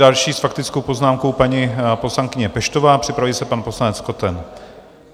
Další s faktickou poznámkou paní poslankyně Peštová, připraví se pan poslanec Koten.